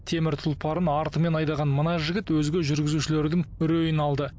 темір тұлпарын артымен айдаған мына жігіт өзге жүргізушілердің үрейін алды